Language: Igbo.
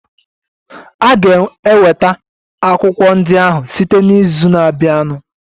A ga-enweta akwụkwọ ndị ahụ site n'izu na-abịanụ.